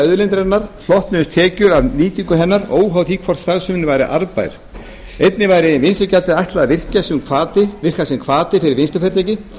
auðlindarinnar hlotnuðust tekjur af nýtingu hennar óháð því hvort starfsemin væri arðbær einnig væri vinnslugjaldinu ætlað að virka sem hvati fyrir vinnslufyrirtæki